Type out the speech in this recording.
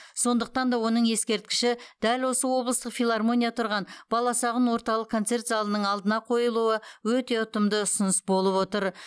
сондықтан да оның ескерткіші дәл осы облыстық филармония тұрған баласағұн орталық концерт залының алдына қойылуы өте ұтымды ұсыныс болып отыр